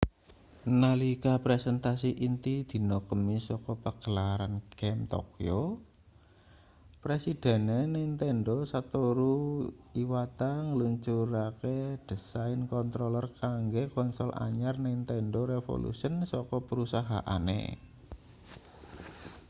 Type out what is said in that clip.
nalika presentasi inti dina kemis saka pagelaran game tokyo presidene nintendo satoru iwata ngluncurake desain controller kanggo konsol anyar nintendo revolution saka perusahaane